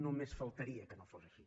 només faltaria que no fos així